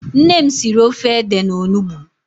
Nne m siri ofe ede na onugbu.